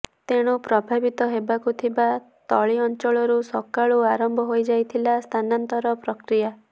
ତେଣୁ ପ୍ରଭାବିତ ହେବାକୁ ଥିବା ତଳି ଅଂଚଳରୁ ସକାଳୁ ଆରମ୍ଭ ହୋଇଯାଇଥିଲା ସ୍ଥାନାନ୍ତର ପ୍ରକ୍ରିୟା